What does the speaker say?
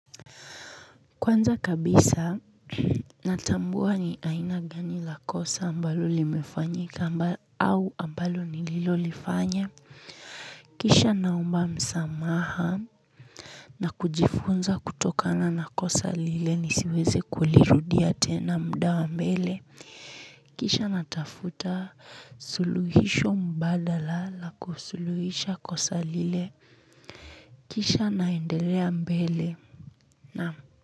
Kwanza kabisa natambua ni aina gani la kosa ambalo limefanyika au ambalo nililolifanya. Kisha naomba msamaha. Na kujifunza kutokana na kosa lile nisiweze kulirudia tena muda wa mbele. Kisha natafuta suluhisho mbadala la kusuluhisha kosa lile. Kisha naendelea mbele na.